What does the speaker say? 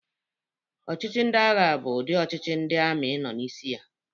Ọchịchị ndị agha bụ ụdị ọchịchị ndị amị nọ n'isi ya.